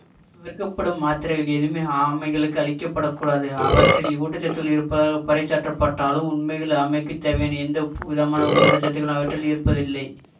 விற்கப்படும் மாத்திரைகள் எதுவுமே ஆமைகளுக்கு அளிக்கப்படக்கூடாது அவற்றில் ஊட்ட சத்துக்கள் இருப்பதாகப் பறைசாற்றப்பட்டாலும் உண்மையில் ஆமைக்குத் தேவையான எந்த விதமான ஊட்டச்சத்தும் அவற்றில் இருப்பதில்லை